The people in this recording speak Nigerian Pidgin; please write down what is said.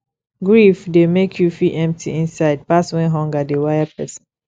grief dey make you feel empty inside pass when hunger dey wire person